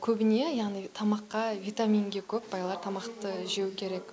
көбіне яғни тамаққа витаминге көп байлар тамақты жеу керек